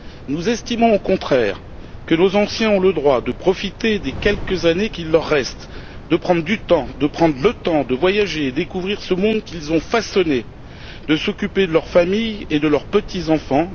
Nous estimons, au contraire, que nos anciens ont le droit de profiter des quelques années qui leur restent, de prendre du temps, de prendre le temps de voyager et de découvrir ce monde qu'ils ont façonné, de s'occuper de leur famille et de leurs petits enfants